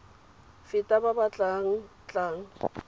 feta ba ba tla tlang